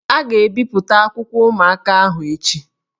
A ga-ebipụta akwụkwọ ụmụaka ahụ echi